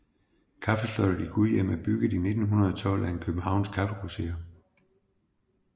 Kaffeslottet i Gudhjem er bygget i 1912 af en københavnsk kaffegrosserer